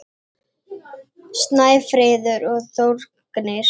Snæfríður og Þórgnýr.